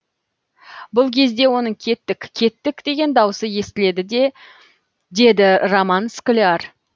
бұл кезде оның кеттік кеттік деген дауысы естіледі деді роман скляр